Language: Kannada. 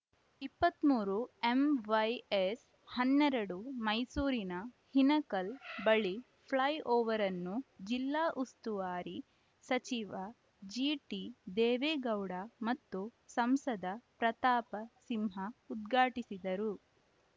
ಇಪ್ಪತ್ತ್ ಮೂರು ಎಂವೈಎಸ್‌ ಹನ್ನೆರಡು ಮೈಸೂರಿನ ಹಿನಕಲ್‌ ಬಳಿ ಫ್ಲೈ ಓವರನ್ನು ಜಿಲ್ಲಾ ಉಸ್ತುವಾರಿ ಸಚಿವ ಜಿಟಿ ದೇವೇಗೌಡ ಮತ್ತು ಸಂಸದ ಪ್ರತಾಪ ಸಿಂಹ ಉದ್ಘಾಟಿಸಿದರು